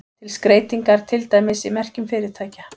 Til skreytingar, til dæmis í merkjum fyrirtækja.